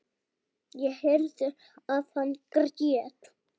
Ég heyrði að hann grét.